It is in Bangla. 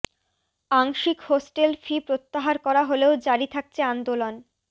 আংশিক হোস্টেল ফি প্রত্যাহার করা হলেও জারি থাকছে আন্দোলন